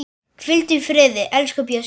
Hvíldu í friði, elsku Bjössi.